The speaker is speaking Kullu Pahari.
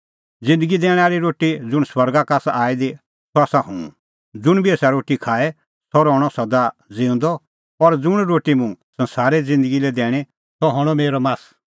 ज़िन्दगी दैणैं आल़ी रोटी ज़ुंण स्वर्गा का आसा आई दी सह आसा हुंह ज़ुंण बी एसा रोटी का खाए सह रहणअ सदा ज़िऊंदअ और ज़ुंण रोटी मुंह संसारे ज़िन्दगी लै दैणीं सह हणअ मेरअ मास